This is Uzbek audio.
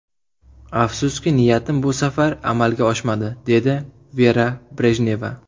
Afsuski, niyatim bu safar amalga oshmadi”, dedi Vera Brejneva.